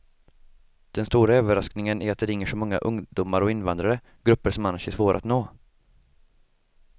Den stora överraskningen är att det ringer så många ungdomar och invandrare, grupper som annars är svåra att nå.